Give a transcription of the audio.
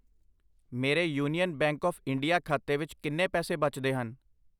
ਮੇਰੇ Union Bank of India ਖਾਤੇ ਵਿੱਚ ਕਿੰਨੇ ਪੈਸੇ ਬਚਦੇ ਹਨ?